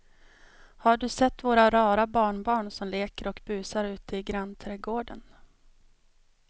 Har du sett våra rara barnbarn som leker och busar ute i grannträdgården!